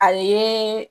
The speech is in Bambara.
A ye